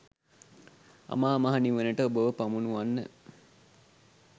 අමා මහ නිවනට ඔබව පමුණුවන්න.